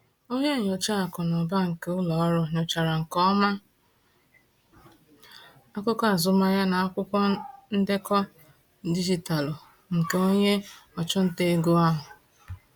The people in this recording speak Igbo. Onye nyocha akụ na ụba nke ụlọ ọrụ nyochachara nke ọma akụkọ azụmahịa na akwụkwọ ndekọ dijitalụ nke onye ọchụnta ego ahụ.